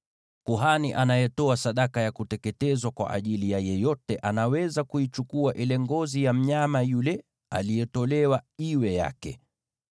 Kuhani anayetoa sadaka ya kuteketezwa kwa ajili ya mtu yeyote anaweza kuichukua ngozi ya mnyama yule aliyetolewa iwe yake.